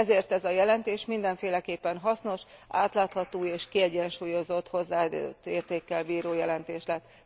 Ezért ez a jelentés mindenféleképpen hasznos, átlátható és kiegyensúlyozott hozzáadott értékkel bíró jelentés lett.